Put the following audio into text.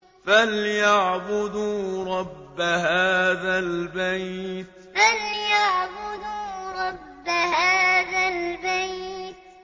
فَلْيَعْبُدُوا رَبَّ هَٰذَا الْبَيْتِ فَلْيَعْبُدُوا رَبَّ هَٰذَا الْبَيْتِ